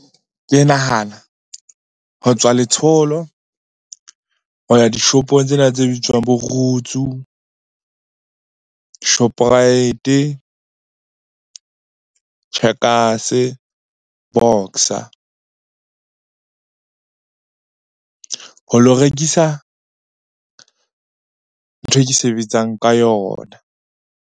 Ke nahana ho tswa letsholo ho ya dishopong tsena tse bitswang bo Roots, moo Shoprite, Checkers, Boxer ho lo rekisa ntho e ke sebetsang ka yona.